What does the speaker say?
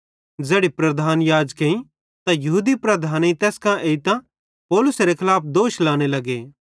ज़ैड़ी प्रधान याजकेईं ते यहूदी लीडर तैस कां एइतां पौलुसेरे खलाफ दोष लाने लगे